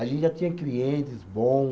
A gente já tinha clientes bom.